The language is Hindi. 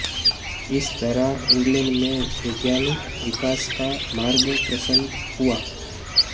इस तरह इंग्लैंड में वैधानिक विकास का मार्ग प्रशस्त हुआ